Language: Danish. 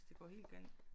Hvis det går helt galt